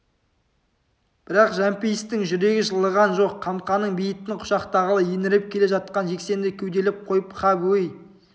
бірақ жәмпейістің жүрегі жылыған жоқ қамқаның бейітін құшақтағалы еңіреп келе жатқан жексенді кеуделеп қойып қап өй